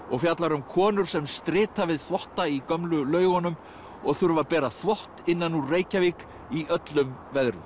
og fjallar um konur sem strita við þvotta í gömlu laugunum og þurfa að bera þvott innan úr Reykjavík í öllum veðrum